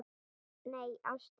Nei, ástin.